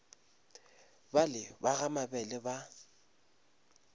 bale ba ga mabele ba